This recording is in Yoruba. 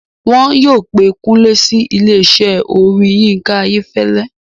Wọ́n yóò pé Kúnlé sí ilésẹ́ orin Yinka Ayefele